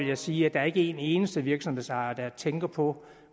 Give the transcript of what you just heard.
jeg sige at der er ikke en eneste virksomhedsejer der tænker på